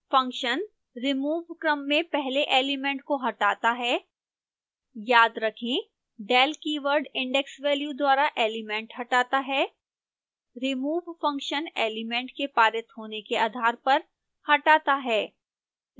function remove क्रम में पहले एलिमेंट को हटाता है याद रखें del keyword index value द्वारा एलिमेंट हटाता है